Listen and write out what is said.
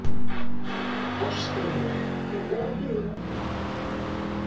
Ástríkur, er opið í ÁTVR?